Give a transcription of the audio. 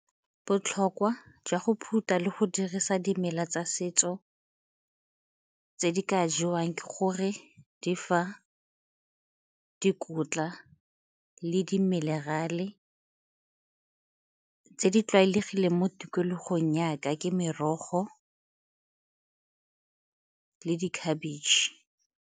Botlhokwa jwa go phutha le go dirisa dimela tsa setso tse di ka jewang ke gore di fa dikotla le dimenerale. Tse di tlwaelegileng mo tikologong ya ka ke merogo le dikhabetšhe.